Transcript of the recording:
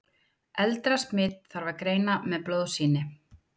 eldra smit þarf að greina með blóðsýni